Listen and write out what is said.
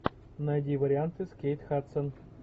найди варианты с кейт хадсон